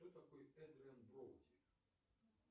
кто такой эдриан броуди